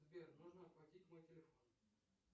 сбер нужно оплатить мой телефон